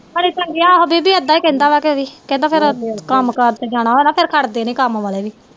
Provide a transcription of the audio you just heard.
ਹਲੇ ਤਾ ਗਿਆ ਉਹ ਬੀਬੀ ਏਦਾਂ ਹੀ ਕਹਿੰਦਾ ਵਾ ਕੇ ਵੀ ਕਹਿੰਦਾ ਫੇਰ ਕੰਮ ਕਾਰ ਤੇ ਜਾਣਾ ਵਾ ਫੇਰ ਛੱਡ ਦੇ ਨੀ ਕੰਮ ਕਾਰ ਵਾਲੇ ਵੀ